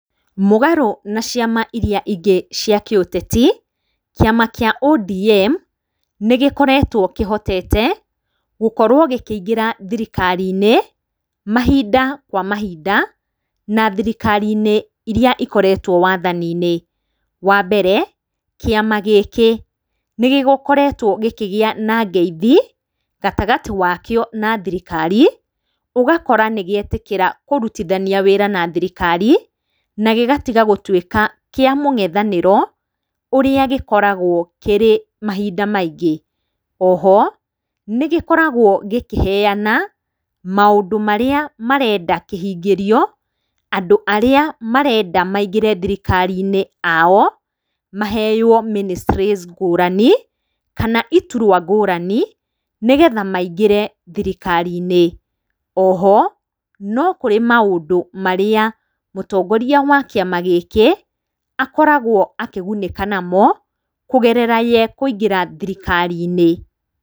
Mũgarũ na ciama irĩa ingĩ cia kĩũteti, kĩama kĩa ODM, nĩgĩkoretwo kĩhotete gũkorwo gĩkĩingĩra thirikari-inĩ mahinda kwa mahinda na thirikari iria ikoretwo wathani-inĩ. Wa mbere, kĩama gĩkĩ, nĩgĩkoretwo gĩkĩgĩa na ngeithi, gatagatĩ gakĩo na thirikari, ũgakora nĩgĩetĩkĩra kũrutithania wĩra na thirikari, na gĩgatiga gũtuĩka kĩa mũng'ethanĩro ũrĩa gĩkoragwo kĩrĩ mahinda maingĩ. Oho, nĩgĩkoragwo gĩkĩheana maũndũ marĩa kĩrenda kĩhingĩrio, andũ arĩa marenda maingĩre thirikari-inĩ ao, maheo ministries ngũrani, kana iturua ngũrani, nĩgetha maingĩre thirikari-inĩ. Oho, nokũrĩ maũndũ marĩa mũtongoria wa kĩama gĩkĩ akoragwo akĩgunĩka namo, kũgerera we kũingĩra thirikari-inĩ.